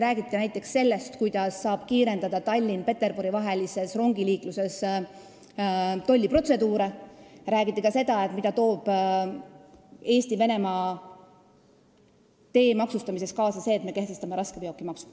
Räägiti näiteks sellest, kuidas saab kiirendada Tallinna ja Peterburi vahelises rongiliikluses tolliprotseduure, räägiti ka sellest, mida toob kaasa see, et me kehtestame raskeveokimaksu.